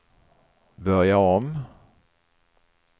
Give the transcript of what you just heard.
börja om